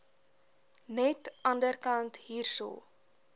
net anderkant hierso